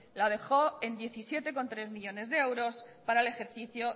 la dejó en diecisiete coma tres millónes de euros para el ejercicio